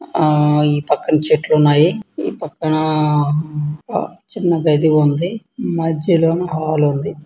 ఆ ఈ పక్కన చెట్లు ఉన్నాయి. ఈ పక్కన చిన్న గది ఉంది. మధ్యలో హాలు ఉంది.